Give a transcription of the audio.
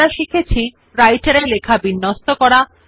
এতে আমরা শিখেছি Writer এ লেখা বিন্যস্ত করা